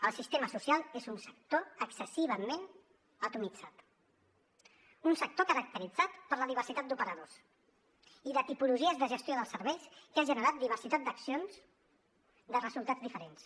el sistema social és un sector excessivament atomitzat un sector caracteritzat per la diversitat d’operadors i de tipologies de gestió dels serveis que ha generat diversitat d’accions de resultats diferents